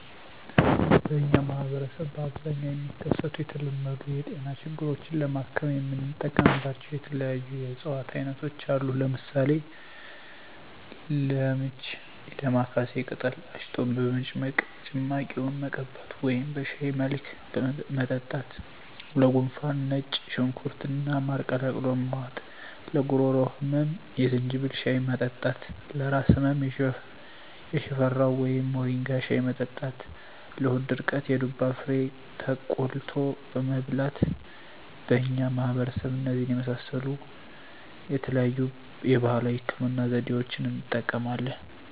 በእኛ ማህበረሰብ በአብዛኛው የሚከሰቱ የተለመዱ የጤና ችግሮችን ለማከም የምንጠቀምባቸው የተለያዩ የእፅዋት አይነቶች አሉ። ለምሳሌ፦ -ለምች የዳማካሴ ቅጠል አሽቶ በመጭመቅ ጭማቂውን መቀባት ወደም በሻይ መልክ መጠጣት -ለጉንፋን ነጭ ሽንኩርት እና ማር ቀላቅሎ መዋጥ -ለጉሮሮ ህመም የዝንጅብል ሻይ መጠጣት -ለራስ ህመም የሽፈራው ወይም ሞሪንጋ ሻይ መጠጣት -ለሆድ ድርቀት የዱባ ፍሬ ተቆልቶ መብላት በእኛ ማህበረሰብ እነዚህን የመሳሰሉ የተለያዩ የባህላዊ ህክምና ዘዴዋችን እንጠቀማለን።